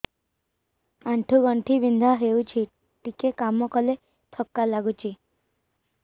ଆଣ୍ଠୁ ଗଣ୍ଠି ବିନ୍ଧା ହେଉଛି ଟିକେ କାମ କଲେ ଥକ୍କା ଲାଗୁଚି